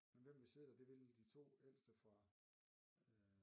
Men hvem vil sidde der det vil de 2 ældste fra øh